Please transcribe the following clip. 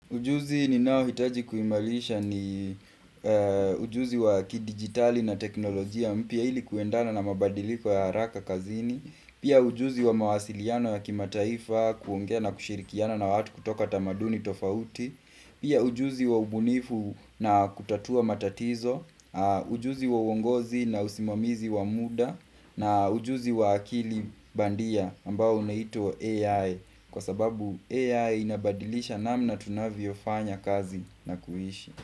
Ujuzi ninaohitaji kuimarisha ni ujuzi wa kidigitali na teknolojia mpya ili kuendana na mabadiliko ya haraka kazini. Pia ujuzi wa mawasiliano ya kimataifa kuongea na kushirikiana na watu kutoka tamaduni tofauti Pia ujuzi wa ubunifu na kutatua matatizo ujuzi wa uongozi na usimamizi wa muda na ujuzi wa akili bandia ambao unaitwa AI Kwasababu AI inabadilisha namna tunavyofanya kazi na kuishi.